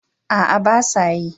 A'a, ba sa yi.